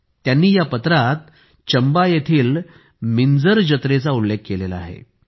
त्यांनी या पत्रात चंबा येथील मिंजर जत्रेचा उल्लेख केला आहे